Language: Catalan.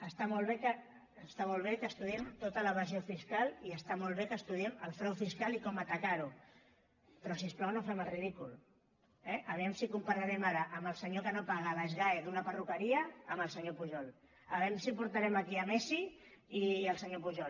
està molt bé que estudiem tota l’evasió fiscal i està molt bé que estudiem el frau fiscal i com atacar ho però si us plau no fem el ridícul eh vejam si compararem ara el senyor que no paga a l’sgae d’una perruqueria amb el senyor pujol vejam si portarem aquí messi i el senyor pujol